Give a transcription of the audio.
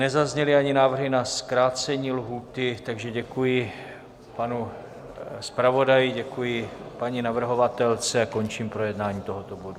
Nezazněly ani návrhy na zkrácení lhůty, takže děkuji panu zpravodaji, děkuji paní navrhovatelce a končím projednání tohoto bodu.